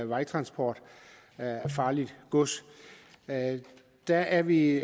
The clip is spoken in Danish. vejtransport af farligt gods der er vi